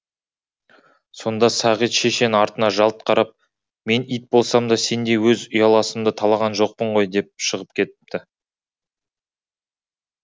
сонда сағит шешен артына жалт қарап мен ит болсам да сендей өз ұяласымды талаған жоқпын ғой деп шығып кетіпті